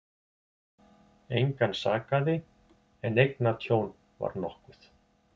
Engan sakaði en eignatjón var nokkuð